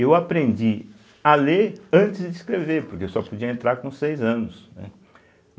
Eu aprendi a ler antes de escrever, porque eu só podia entrar com seis anos, né.